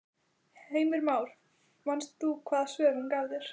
Heimir Már: Manst þú hvaða svör hún gaf þér?